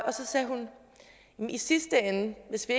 og så sagde hun i sidste ende hvis vi